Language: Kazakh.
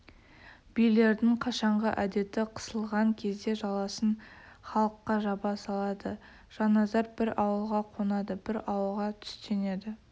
билердің қашанғы әдеті қысылған кезде жаласын халыққа жаба салады жанназар бір ауылға қонады бір ауылға түстенеді